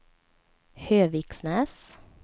Höviksnäs